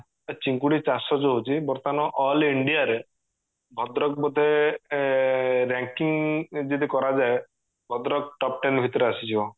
ଚିଙ୍ଗୁଡି ଚାଷ ଯୋଉ ହୋଉଚି ବର୍ତମାନ all india ରେ ଭଦ୍ରକ ବୋଧେ ranking ଯଦି କରାଯାଏ ଭଦ୍ରକ top ten ଭିତରେ ଆସିଯିବ